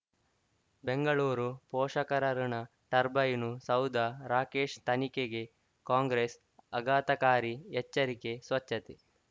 ಬೆಂಗಳೂರು ಪೋಷಕರಋಣ ಟರ್ಬೈನು ಸೌಧ ರಾಕೇಶ್ ತನಿಖೆಗೆ ಕಾಂಗ್ರೆಸ್ ಆಘಾತಕಾರಿ ಎಚ್ಚರಿಕೆ ಸ್ವಚ್ಛತೆ